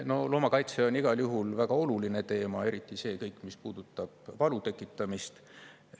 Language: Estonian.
No loomakaitse on igal juhul väga oluline teema, eriti see kõik, mis puudutab valu tekitamist.